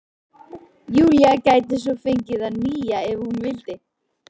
Júlía gæti svo fengið það nýja- ef hún vildi.